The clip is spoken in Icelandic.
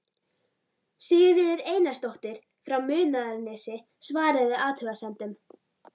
Sigríður Einarsdóttir frá Munaðarnesi svaraði athugasemdum